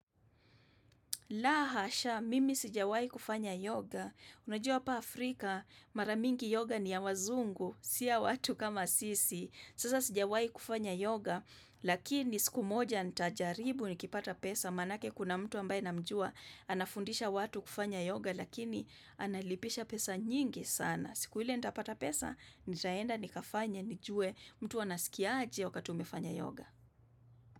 La hasha, mimi sijawai kufanya yoga, unajua hapa Afrika, mara mingi yoga ni ya wazungu, si ya watu kama sisi, sasa sijawai kufanya yoga, lakini siku moja nitajaribu nikipata pesa, manake kuna mtu ambaye namjua, anafundisha watu kufanya yoga, lakini analipisha pesa nyingi sana, siku hile nitapata pesa, nitaenda nikafanye, nijue, mtu anasikia aje wakati umefanya yoga.